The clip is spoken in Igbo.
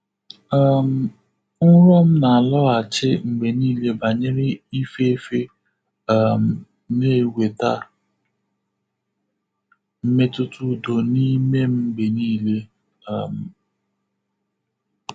um Nrọ m na-alọghachi mgbe niile banyere ịfefe um na-eweta mmetụta udo n’ime m mgbe niile. um